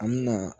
An mɛna